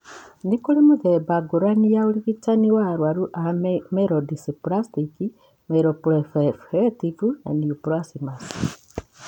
Nĩ kũrĩ mĩthemba ngũrani ya ũrigitani wa arũaru ma myelodysplastic /myeloproliferative neoplasms.